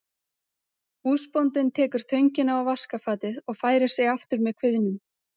Húsbóndinn tekur töngina og vaskafatið og færir sig aftur með kviðnum.